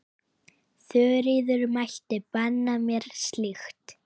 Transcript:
Þuríður mælti banna mér slíkt.